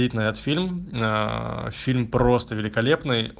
фильм на фильм просто великолепно